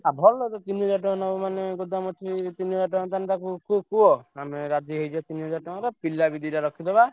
ଆଉ ଭଲ ତ ତିନି ହଜାର ଟଙ୍କା ନବ ମାନେ ଗୋଦାମକୁ ତିନି ହଜାର ତାହେଲେ ତାକୁ ଟିକେ କୁହ ଆମେ ରାଜି ହେଇଛେ ତିନି ହଜାର ଟଙ୍କାରେ ପିଲା ବି ଦିଟା ରଖିଦବା।